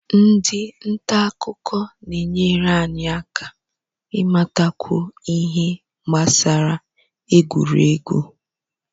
Ndị nta akụkọ na-enyere anyị aka ịmatakwu ihe gbasara egwuregwu